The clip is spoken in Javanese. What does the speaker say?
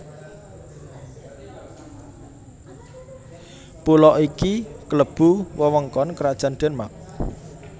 Pulo iki klebu wewengkon Krajan Denmark